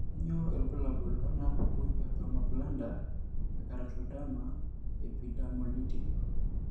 Kainyio irbulabul onaapuku ePalmoplantar ekeratoderma, epidermolytic?